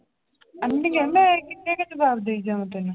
ਮੈਂ ਕਿੰਨੇ ਕੁ ਜਵਾਬ ਦੇਈ ਜਾਵਾਂ ਤੈਨੂੰ।